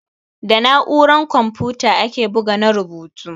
Da na'uran kamfuta ake bugu na rubutu.